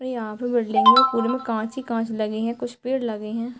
और यहाँ पे बिल्डिंग में पुरे में कांच ही कांच लगी हैं कुछ पेड़ लगे हैं |